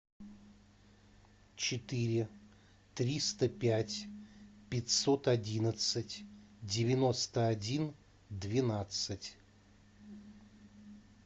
четыре триста пять пятьсот одиннадцать девяносто один двенадцать